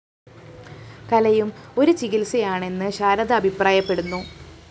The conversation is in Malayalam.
കലയും ഒരു ചികിത്സയാണെന്ന് ശാരദ അഭിപ്രായപ്പെടുന്നു